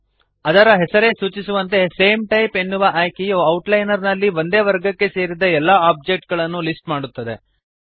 ಅದರ ಹೆಸರೇ ಸೂಚಿಸುವಂತೆ ಸೇಮ್ ಟೈಪ್ಸ್ ಎನ್ನುವ ಆಯ್ಕೆಯು ಔಟ್ಲೈನರ್ ನಲ್ಲಿ ಒಂದೇ ವರ್ಗಕ್ಕೆ ಸೇರಿದ ಎಲ್ಲ ಆಬ್ಜೆಕ್ಟ್ ಗಳನ್ನು ಲಿಸ್ಟ್ ಮಾಡುತ್ತದೆ